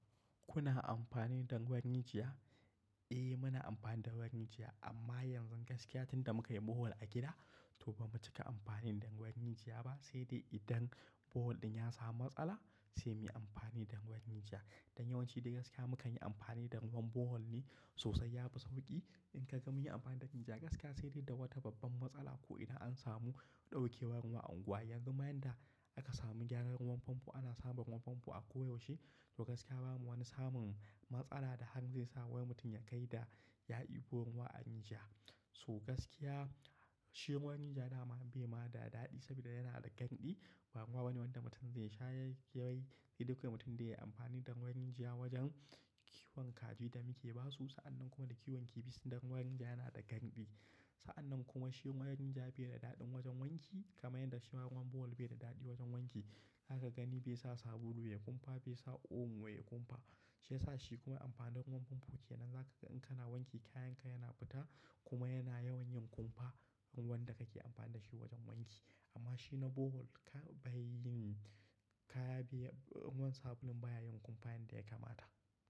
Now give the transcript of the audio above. Kuna amfani da ruwan rijiya? Eh, muna amfani da ruwan rijiya, amma yanzu gaskiya tunda muka yi borehol a gida, toh ba mu cika amfani da ruwan yinjiya ba, sai dai idan borehol ɗin ya samu matsala sai muyi amfani da ruwan rijiya. Don yawanci da gaskiya mukan yi amfani da ruwan borehol ne sosai, ya fi sauƙi. In ka gama yin amfani da rijiya, gaskiya sai dai da wata babban matsala ko idan an samu ɗaukewar ruwa a unguwa. Yanzu ma yanda aka samu gyaran ruwan famfo ana samun ruwan famfo a koyaushe, to gaskiya bamu wani samun matsala da hanga zai sa wani mutum ya kai da ya dibo ruwa a rijiya. Toh gaskiya, shi ruwan rijiya da ma bai ma da daɗi sabida yana da ganɗi. Ba ruwa bane wanda mutum zai sha ya yi kewaye. Sai dai kawai mutum da yayi amfani da ruwan rijiya wajen kiwon kaji da muke basu. Sa'annan kuma da kiwon kifi sanda ruwan rijiya yana da ganɗi. Sa'annan kuma shi ruwan rijiya bai da daɗin wajen wanki, kamar yadda shima ruwan borehol bai da daɗi wajen wanki. Haka gani bai sa sabulu ya kumfa, bai sa omo ba yayi kumfa. Shi yasa shi kuma amfanin ruwan famfo kenan. Zaka ga in kana wanki kayanka yana fita, kuma yana yawan yin kumfa, ruwan wanda kake amfani da shi wajen wanki. Amma shi na borehol ka bai yin, kaya bai, wani sabulun baya yin kumfa yanda ya kamata.